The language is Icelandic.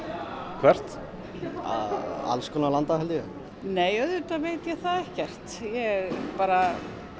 hvert alls konar landa held ég nei auðvitað veit ég það ekkert ég bara